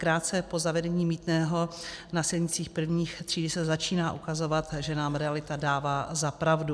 Krátce po zavedení mýtného na silnicích prvních tříd se začíná ukazovat, že nám realita dává za pravdu.